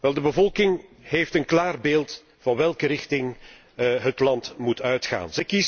Wel, de bevolking heeft een klaar beeld van welke richting het land moet uitgaan.